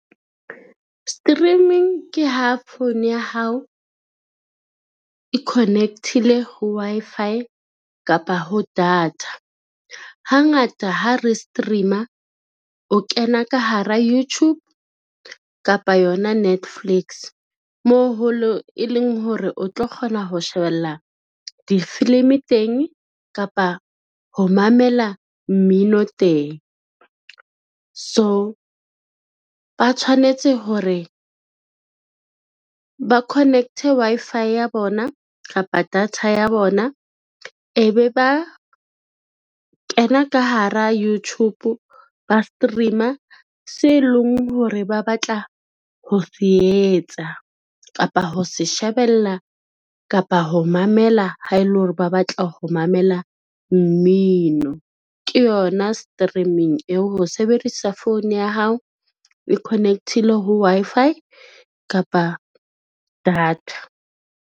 Streaming ke ha phone ya hao e connect-ile ho Wi-Fi kapa ho data. Hangata ha re stream-a o kena ka hara YouTube kapa yona Netflix, mo e leng hore o tlo kgona ho shebella difilimi teng kapa ho mamela mmino teng. So ba tshwanetse hore, ba connect-e Wi-Fi ya bona kapa data ya bona e be ba kena ka hara Youtube ba stream-a se leng hore ba batla ho se etsa, kapa ho se shebella, kapa ho mamela ha e le hore ba batla ho mamela mmino ke yona streaming eo, ho sebedisa phone ya hao e connect-ile ho Wi-Fi kapa data.